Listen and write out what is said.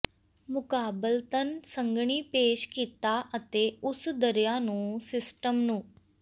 ਮੁਕਾਬਲਤਨ ਸੰਘਣੀ ਪੇਸ਼ ਕੀਤਾ ਅਤੇ ਉਸ ਦਰਿਆ ਨੂੰ ਸਿਸਟਮ ਨੂੰ